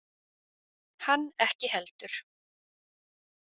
Hann ekki heldur.